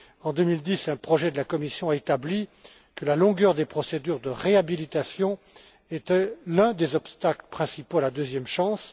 En 2010, un projet de la Commission a établi que la durée des procédures de réhabilitation était l'un des obstacles principaux à la deuxième chance.